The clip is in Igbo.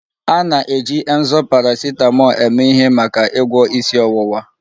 A na-eji Emzor paracetamol eme ihe maka ịgwọ isi ọwụwa